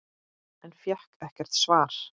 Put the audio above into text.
En fékk ekkert svar.